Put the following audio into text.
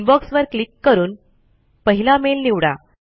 inbox वर click करून पहिला मेल निवडा